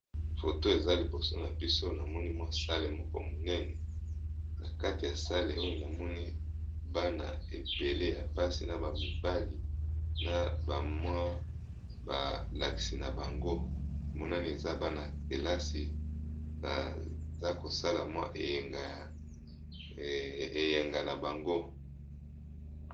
Foto eza liboso na biso namoni mwa sale moko monene na kati ya sale oyo namoni bana ebele ya basi na bamibali na bamwa balakisi na bango monani eza bana telasi baza kosala mwa eyenga na bango.